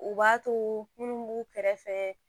U b'a to munnu b'u kɛrɛfɛ